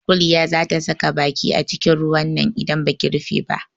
Kuliya za ta saka baki acikin ruwan nan idan baki rufe ba.